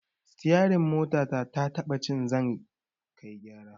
Sitiyarin motata taɓa ci zan kai gyara